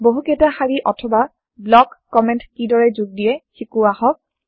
বহু কেইটা শাৰি অথবা ব্লক কমেণ্টছ কমেন্ট কিদৰে যোগ দিয়ে শিকো আহক